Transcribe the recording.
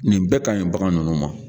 Nin bɛɛ ka ɲi bagan ninnu ma.